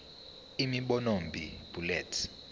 imibono b bullets